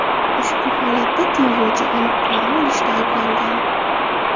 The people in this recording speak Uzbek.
Ushbu holatda tergovchi aniq pora olishda ayblangan.